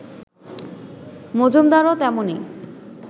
মজুমদারও তেমনি